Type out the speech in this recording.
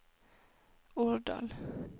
Årdal